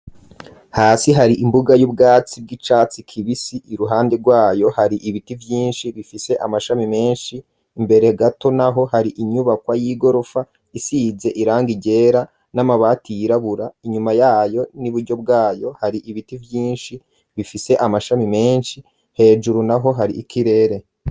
Hasi hari imbuga y'ubwatsi bw'icatsi kibisi ,iruhande rwayo hari ibiti vyinshi bifise amashami menshi, mbere gato naho hari inyubakwa y'igorofa isize iranga ryera, n'amabati yirabura, inyuma yayo n'iburyo bwayo hari ibiti vyinshi bifise amashami menshi, hejuru naho hari ikirere.